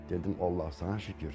Dedim Allah sənə şükür.